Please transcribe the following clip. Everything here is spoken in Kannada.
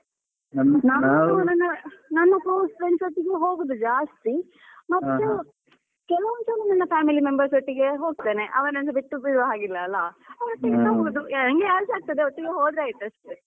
ನಾವು ನನ್ನ ನನ್ನ college friends ಒಟ್ಟಿಗೆ ಹೋಗುದು ಜಾಸ್ತಿ ಮತ್ತೆ ಕೆಲವೊಂದು ಸಲ ನನ್ನ family members ಒಟ್ಟಿಗೆ ಹೋಗ್ತೇನೆ ಅವರನ್ನು ಬಿಟ್ಟು ಬಿಡುವ ಹಾಗಿಲ್ಲ ಅಲ್ಲ. ಅವರೊಟ್ಟಿಗೆಸ ಹೋಗುದು ನಂಗೆ ಯಾರುಸ ಆಗ್ತದೆ ಒಟ್ಟಿಗೆ ಹೋದ್ರೆ ಆಯ್ತು ಅಷ್ಟೇ.